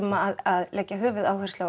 að leggja höfuðáherslu á